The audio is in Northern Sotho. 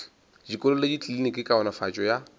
dikolo le dikliniki kaonafatšo ya